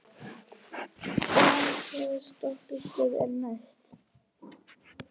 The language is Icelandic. Starri, hvaða stoppistöð er næst mér?